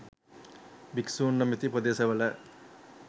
භික්‍ෂූන් නොමැති ප්‍රදේශවල